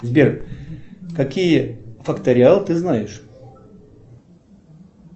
сбер какие факториалы ты знаешь